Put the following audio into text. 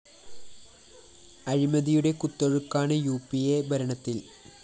അഴിമതിയുടെ കുത്തൊഴുക്കാണ് U P അ ഭരണത്തില്‍